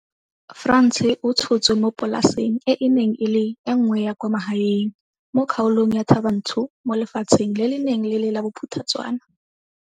Frans o tshotswe mo polaseng e e neng e le e nngwe ya kwa magaeng, mo kgaolong ya Thaba Nchu, mo lefatsheng le le neng le le la Bophuthatswana.